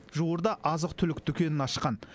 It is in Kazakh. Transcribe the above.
жуырда азық түлік дүкенін ашқан